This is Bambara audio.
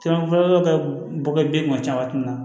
bɔ kɛ den kun caman na